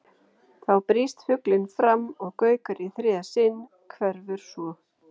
Þá brýst fuglinn fram og gaukar í þriðja sinn, hverfur svo.